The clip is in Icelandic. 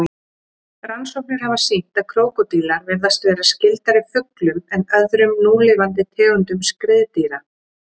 Rannsóknir hafa sýnt að krókódílar virðast vera skyldari fuglum en öðrum núlifandi tegundum skriðdýra.